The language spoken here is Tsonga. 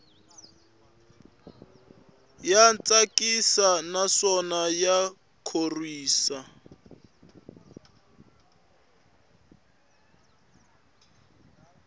ya tsakisa naswona ya khorwisa